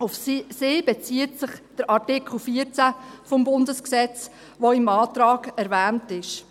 Auf sie bezieht sich der Artikel 14 des Bundesgesetzes , der im Antrag erwähnt ist.